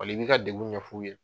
Wali i b'i ka degun ɲɛf'u ye.